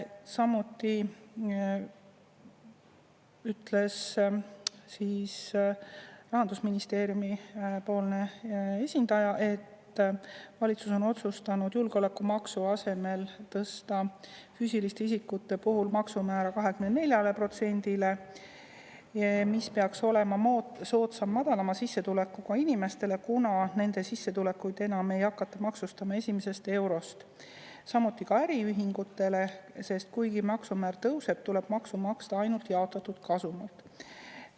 Samuti ütles siis Rahandusministeeriumi esindaja, et valitsus on otsustanud julgeolekumaksu asemel tõsta füüsiliste isikute puhul maksumäära 24%-le, mis peaks olema soodsam madalama sissetulekuga inimestele, kuna nende sissetulekuid enam ei hakata maksustama esimesest eurost, samuti ka äriühingutele, sest kuigi maksumäär tõuseb, tuleb maksu maksta ainult jaotatud kasumilt.